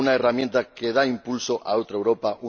Una herramienta que da impulso a otra Europa.